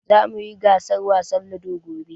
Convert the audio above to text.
Zamu yi gasar wasan Ludo gobe.